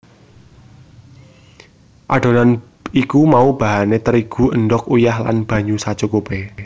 Adonan iku mau bahané terigu endhog uyah lan banyu sacukupé